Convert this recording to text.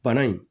Bana in